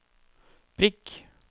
prikk